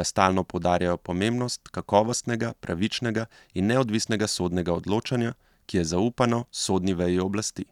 da stalno poudarjajo pomembnost kakovostnega, pravičnega in neodvisnega sodnega odločanja, ki je zaupano sodni veji oblasti.